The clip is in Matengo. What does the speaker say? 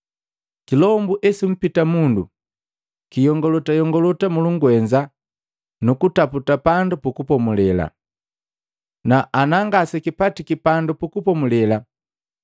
“Kilombu esumpita mundu, kiyongolota yongolota mulungwenza kutaputa pandu pukupomulela, na ana ngasekipatiki pandu pukupomulela,